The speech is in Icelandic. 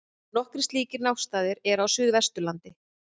Nokkrir slíkir náttstaðir eru á Suðvesturlandi.